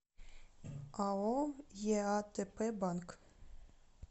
ао еатпбанк